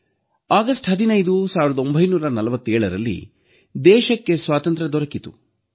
August 15 1947ರಲ್ಲಿ ದೇಶಕ್ಕೆ ಸ್ವಾತಂತ್ರ್ಯ ದೊರಕಿತು